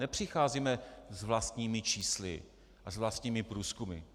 Nepřicházíme s vlastními čísly a s vlastními průzkumy.